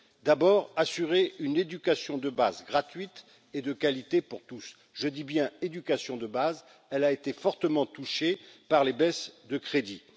La première, assurer une éducation de base gratuite et de qualité pour tous. Je parle bien de l'éducation de base, qui a été fortement touchée par les baisses de crédits.